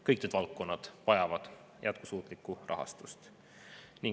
Kõik need valdkonnad vajavad jätkusuutlikku rahastust.